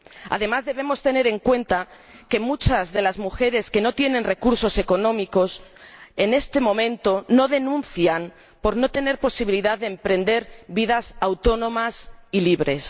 Además, debemos tener en cuenta que muchas de las mujeres que no tienen recursos económicos en este momento no denuncian por no tener posibilidad de emprender vidas autónomas y libres.